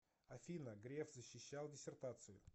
афина греф защищал диссертацию